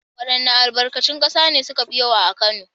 Waɗanns albarkatun ƙasa ne suka fi yawa a Kano?